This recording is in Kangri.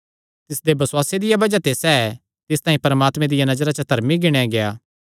तिसदे बसुआसे दिया बज़ाह ते सैह़ तिस तांई परमात्मे दिया नजरा च धर्मी गिणेया गेआ